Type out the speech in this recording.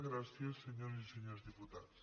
gràcies senyores i senyors diputats